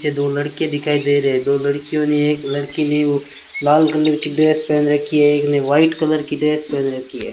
पीछे दो लड़के दिखाई दे रहे है दो लड़कियों ने एक लड़की ने वो लाल कलर की ड्रेस पहन रखी है एक ने व्हाइट कलर की ड्रेस पहन रखी है।